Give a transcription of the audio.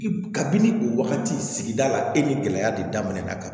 Kabini o wagati sigida la e ni gɛlɛya de daminɛ na